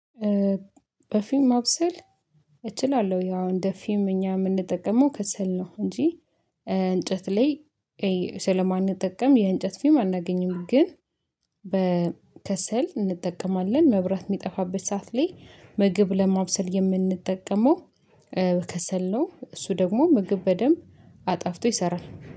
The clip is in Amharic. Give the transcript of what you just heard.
በፊም ማብሰል እችላለሁ። ያው እንደ ፊም እኛ የምንጠቀመው ከሰል ነው እንጂ እንጨት ላይ ስለማንጠቀም የእንጨት ፊም አናገኝም። ግን በከሰል እንጠቀማለን መብራት የሚጠፋበት ሰዓት ላይ ምግብ ለማብሰል የምንጠቀመው ከሰል ነው። እሱ ደግሞ ምግብ በደንብ አጣፍጦ ይሰራል